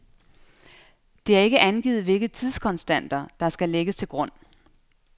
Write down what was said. Det er ikke angivet, hvilke tidskonstanter, der skal lægges til grund.